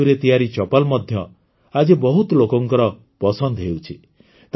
ଏହି ତନ୍ତୁରେ ତିଆରି ଚପଲ୍ ମଧ୍ୟ ଆଜି ବହୁତ ଲୋକଙ୍କର ପସନ୍ଦ ହେଉଛି